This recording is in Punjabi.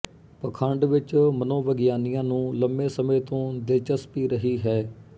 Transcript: ਪਖੰਡ ਵਿੱਚ ਮਨੋਵਿਗਿਆਨੀਆਂ ਨੂੰ ਲੰਮੇ ਸਮੇਂ ਤੋਂ ਦਿਲਚਸਪੀ ਰਹੀ ਹੈ